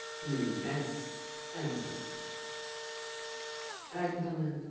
হম একদম একদম একদম